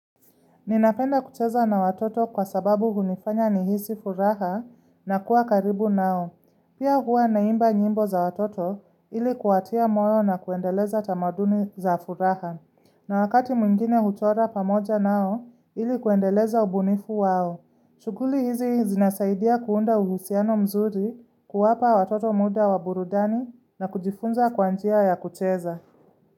Ninapenda kucheza na watoto kwa sababu hunifanya nihisi furaha na kuwa karibu nao. Pia huwa naimba nyimbo za watoto ili kuatia moyo na kuendeleza tamaduni za furaha. Na wakati mwingine huchora pamoja nao ili kuendeleza ubunifu wao. Shughuli hizi zinasaidia kuunda uhusiano mzuri kuwapa watoto muda wa burudani na kujifunza kwanjia ya kucheza.